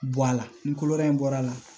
Bɔ a la ni kolo in bɔr'a la